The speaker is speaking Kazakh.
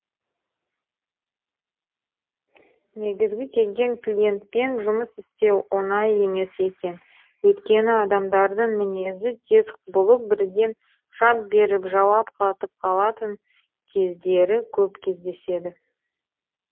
негізі келген клиентпен жұмыс істеу оңай емес екен өйткені адамдардың мінезі тез құбылып бірден шап беріп жауап қатып қалатын кездері көп кездесті